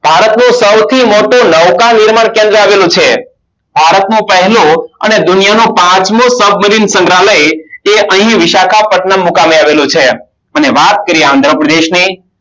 ભારતનું સૌથી મોટું નૌકા નિર્માણ કેન્દ્ર આવેલું છે ભારતનું પહેલું અને દુનિયાનું પાંચમું સબમરીન સંગ્રાલય તે અહીં વિશાખા પથનમે આવેલું છે અને વાત કારીઓએ આંધ્રપ્રદેશની